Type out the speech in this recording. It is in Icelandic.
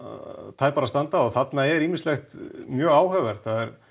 tæpara standa þarna er ýmislegt mjög áhugavert það er